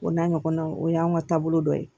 O n'a ɲɔgɔnnaw o y'anw ka taabolo dɔ ye